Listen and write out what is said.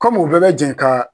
Kɔmi u bɛɛ bɛ jɛn ka